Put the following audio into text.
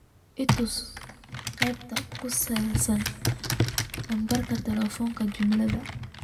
itus aqbaarta ku saabsan lambarka taleefonka juma